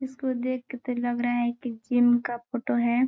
इसको देख के तो लग रहा है की जिम का फोटो है।